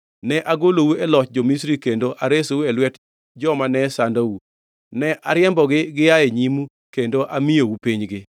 Ne agolou e loch jo-Misri kendo aresou e lwet joma ne sandou. Ne ariembogi gia e nyimu kendo amiyou pinygi.